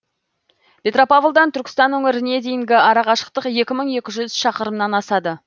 петропавлдан түркістан өңіріне дейінгі арақашықтық екі мың екі жүз шақырымнан асады